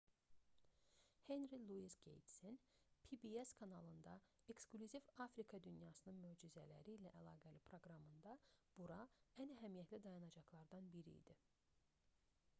henri luis qeytsin pbs kanalında eksklüziv afrika dünyasının möcüzələri ilə əlaqəli proqramında bura ən əhəmiyyətli dayanacaqlardan biri idi